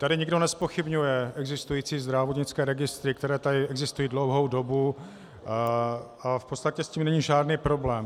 Tady nikdo nezpochybňuje existující zdravotnické registry, které tady existují dlouhou dobu, ale v podstatě s tím není žádný problém.